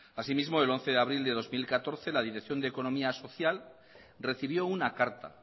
así mismo el once de abril de dos mil catorce la dirección de economía social recibió una carta